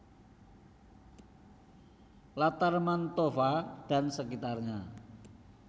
Latar Mantova dan sekitarnya